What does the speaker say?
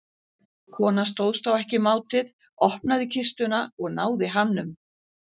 Konan stóðst þá ekki mátið, opnaði kistuna og náði hamnum.